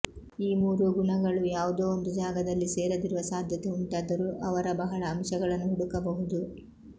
ಈ ಮೂರು ಗುಣಗಳೂ ಯಾವುದೋ ಒಂದು ಜಾಗದಲ್ಲಿ ಸೇರದಿರುವ ಸಾಧ್ಯತೆ ಉಂಟಾದರೂ ಅವರ ಬಹಳ ಅಂಶಗಳನ್ನು ಹುಡುಕಬಹುದು